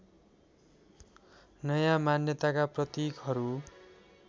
नयाँ मान्यताका प्रतीकहरू